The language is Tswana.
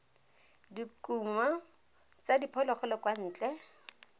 dikumo tsa diphologolo kwa ntle